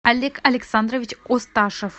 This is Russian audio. олег александрович осташев